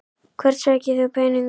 Hvert sækir þú peningana?